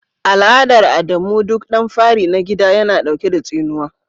Al'adar Adamu duk dan fari na gida yana dauke da tsinuwa.